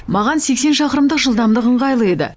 маған сексен шақырымдық жылдамдық ыңғайлы еді